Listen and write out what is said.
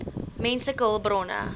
menslike hulpbronne